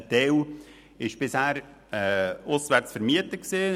Ein Teil wurde bisher auswärts vermietet.